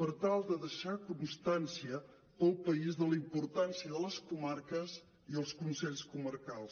per tal de deixar constància per al país de la importància de les comarques i els consells comarcals